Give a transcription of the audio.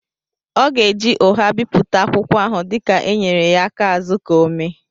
ọ ga-eji ụgha bipụta akwụkwọ ahụ dika e nyere ya aka azụ ka ọ méé